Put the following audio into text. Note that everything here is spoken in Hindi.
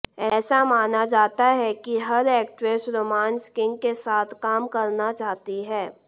ऐसा माना जाता है कि हर एक्ट्रेस रोमांस किंग के साथ काम करना चाहती हैं